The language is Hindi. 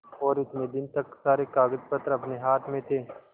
और इतने दिन तक सारे कागजपत्र अपने हाथ में थे